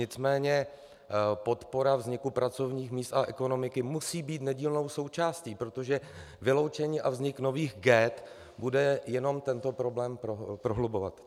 Nicméně podpora vzniku pracovních míst a ekonomiky musí být nedílnou součástí, protože vyloučení a vznik nových ghett bude jenom tento problém prohlubovat.